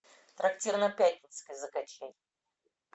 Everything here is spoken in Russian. трактир на пятницкой закачай